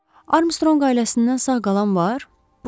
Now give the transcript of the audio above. Armstrong ailəsindən sağ qalan var?